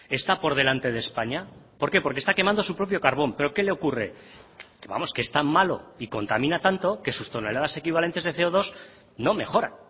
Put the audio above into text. está por delante de españa por qué porque está quemando su propio carbón pero qué le ocurre vamos que es tan malo y contamina tanto que sus toneladas equivalentes de ce o dos no mejora